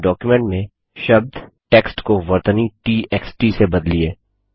अपने डॉक्युमेंट में शब्द टेक्स्ट को वर्तनी ट एक्स ट से बदलिए